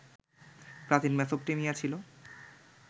প্রাচীন মেসোপটেমিয়া ছিল